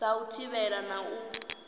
dza u thivhela na u